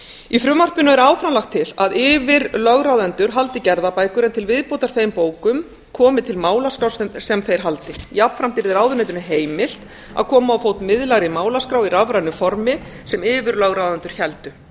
í frumvarpinu er áfram lagt til að yfirlögráðendur haldi gerðabækur en til viðbótar þeim bókum komi til málaskrá sem þeir haldi jafnframt yrði ráðuneytinu heimilt að koma á fót miðlægri málaskrá í rafrænu formi sem yfirlögráðendur héldu